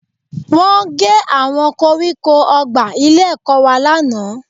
Wọ́n gé àwọn koríko ọgbà ilé-ẹ̀kọ́ wa lánàá